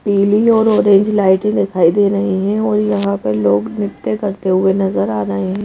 पीली और orange light दिखाई दे रही हैं और यहां पे लोग नृत्य करते हुए नजर आ रहे हैं।